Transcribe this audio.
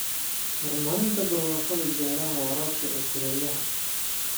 Horumarinta barwaaqada beeraha waraabka ee kulaylaha.